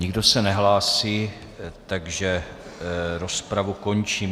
Nikdo se nehlásí, takže rozpravu končím.